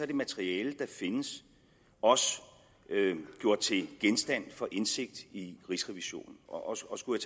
det materiale der findes også gjort til genstand for indsigt i rigsrevisionen og skulle